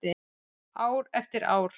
Ár eftir ár.